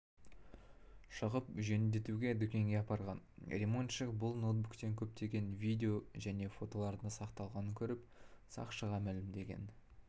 шығып жөндетуге дүкенге апарған римонтшык бұл ноутбуктен көптеген видео және фотолардың сақталғанын көріп сақшыға мәлімдеген